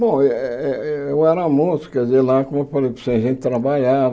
Bom, eh eh eh eu era moço, quer dizer, lá, como eu falei, a gente trabalhava.